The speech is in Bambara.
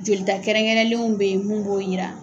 Jolita kɛrɛnkɛrɛnlenw be ye mun b'o yira